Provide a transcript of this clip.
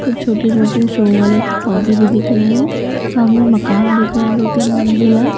कुछ छोटे-छोटे शो वाले पौधे भी दिख रहे हैं सामने मकान दिख रहा है दो-तीन मंजिला--